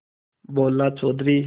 बोलो चौधरी